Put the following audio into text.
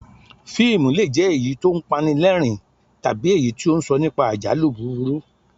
Fíìmù le è jẹ́ èyí tí ó ń pa ni lẹ́rìn-ín tàbí èyí tí ó ń sọ nípa àjálù búburú